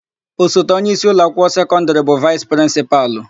Osote onyeisi ụlọakwụkwọ sekọndịrị bụ vaịsị prịnsịpalụ.